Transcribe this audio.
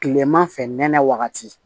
Kileman fɛ nɛnɛ wagati